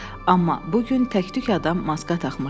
Amma bu gün təktük adam maska taxmışdı.